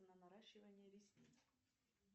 на наращивание ресниц